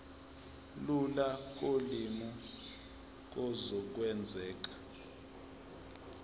lula kolimi kuzokwenzeka